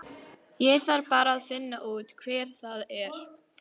Ég þarf bara að finna út hver það er.